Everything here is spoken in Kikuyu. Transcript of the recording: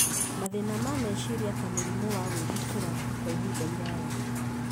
mathĩna ma meciria ta mũrimũ wa gwĩthikĩra kwa ihinda iraya.